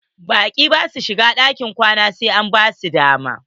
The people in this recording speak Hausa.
Baƙi basu shigan ɗakin kwana sai an basu dama.